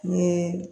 Ni